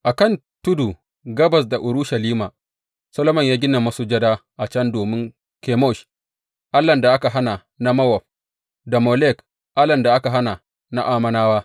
A kan tudu, gabas da Urushalima, Solomon ya gina masujada a can domin Kemosh, allahn da aka hana na Mowab, da Molek, allahn da aka hana na Ammonawa.